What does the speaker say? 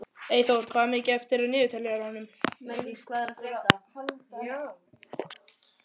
Eymundur, hvað er mikið eftir af niðurteljaranum?